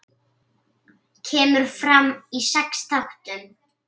Kemur fram í sex þáttum.